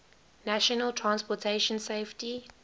national transportation safety